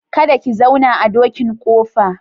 Kada ki zauna a dokin ƙofa.